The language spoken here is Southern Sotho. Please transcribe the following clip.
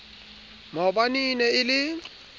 maobane e ne e le